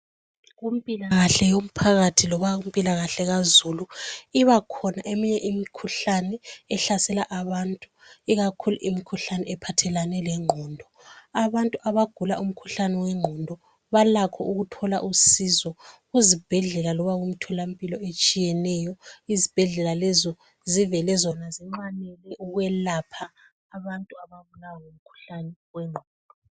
Kumpilakahle yomphakathi lakumpilakahle kazulu ibakhona eminye imkhuhlane ehlasela abantu , ikakhulu imkhuhlane ephathelane lengqondo , abantu abagula umkhuhlane wengqondo balakho ukuthola usizo kuzibhedlela loba kumtholampilo etshiyeneyo , izibhedlela lezo zivele zona zinxanele ukwelapha abantu ababulawa ngumkhuhlane wengqondo